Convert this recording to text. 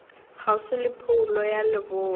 kgauswi le phoulo ya leboa